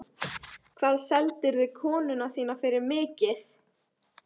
Hvað seldirðu konuna þína fyrir mikið?